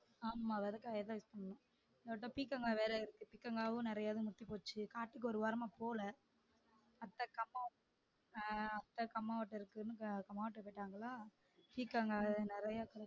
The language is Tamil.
ஆமாம் விதைக்குரதுக்கு அதான் use பண்ணனும் ஓராட்ட பீக்கங்கா வேற இருக்கு பீக்கங்காவும் நிறையா முத்தி போயிருச்சி காட்டுக்கு ஒரு வராமா போல